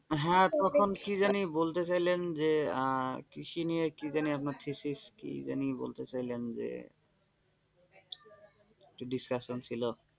হ্যাঁ তখন কি জানি কি বলতে চাইলেন যে আহ কৃষি নিয়ে কি জানি আপনার thesis কি জানি যে বলতে চাইলেন যে কিছু discussion ছিল,